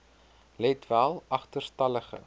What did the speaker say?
let wel agterstallige